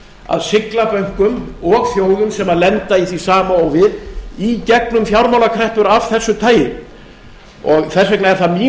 að sigla bönkum og þjóðum sem lenda í því sama og við í gegnum fjármálakreppur af þessu tagi þess vegna er það mín